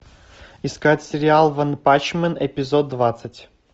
искать сериал ванпанчмен эпизод двадцать